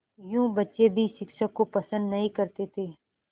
यूँ बच्चे भी शिक्षक को पसंद नहीं करते थे